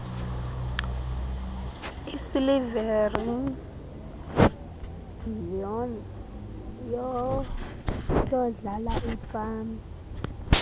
isilivere yondlala ipani